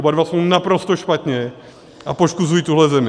Oba dva jsou naprosto špatně a poškozují tuhle zemi.